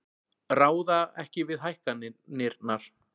Ráða ekki við hækkanirnar